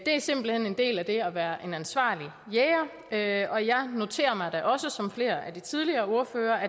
er simpelt hen en del af det at være en ansvarlig jæger og jeg noterer mig da også som flere af de tidligere ordførere at